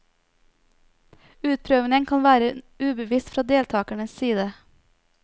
Utprøvingen kan være ubevisst fra deltakernes side.